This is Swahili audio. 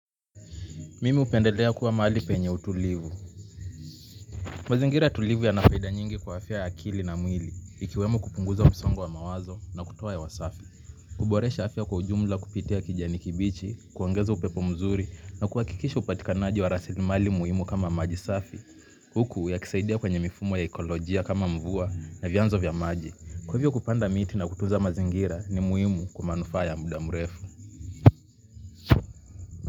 Mimi hupendelea kuwa mahali penye utulivu. Mazingira tulivu ya nafaida nyingi kwa afya ya akili na mwili. Ikiwemo kupunguza msongo wa mawazo na kutuoa hewa wasafi. Huboresha afya kwa ujumla kupitia kijani kibichi, kuongeza upepo mzuri na kuhakikisha upatikanaji wa rasili mali muhimu kama maji safi. Huku ya kisaidia kwenye mifumo ya ekolojia kama mvua na vyanzo vya maji. Kwa hivyo kupanda miti na kutunza mazingira ni muhimu kwa manufaa ya muda mrefu.